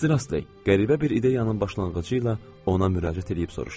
Mister Astley qəribə bir ideyanın başlanğıcı ilə ona müraciət eləyib soruşdum.